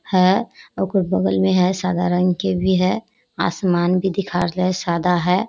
हेय ओकर बगल में हेय सादा रंग के भी हेय आसमान भी दिखा रहले हेय सादा हेय।